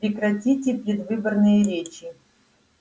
прекратите предвыборные речи